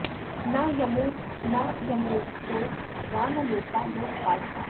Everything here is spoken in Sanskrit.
न यमो न यमलोको वा न लोका लोकपालकाः